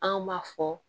An m'a fɔ